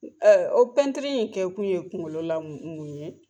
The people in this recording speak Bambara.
o in kɛ kun ye kunkolola mun mun ye ?